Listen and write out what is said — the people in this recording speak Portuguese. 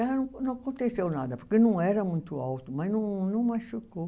E não aconteceu nada, porque não era muito alto, mas não não machucou.